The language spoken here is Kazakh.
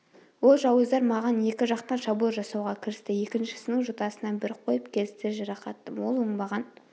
ол жауыздар маған екі жақтан шабуыл жасауға кірісті екіншісінің жотасынан бір қойып келістіре жарақаттадым ол оңбаған